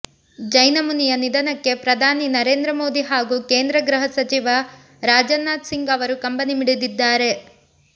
ಜೈನ ಮುನಿಯ ನಿಧನಕ್ಕೆ ಪ್ರಧಾನಿ ನರೇಂದ್ರ ಮೋದಿ ಹಾಗೂ ಕೇಂದ್ರ ಗೃಹ ಸಚಿವ ರಾಜ್ನಾಥ್ ಸಿಂಗ್ ಅವರು ಕಂಬನಿ ಮಿಡಿದಿದ್ದಾರೆ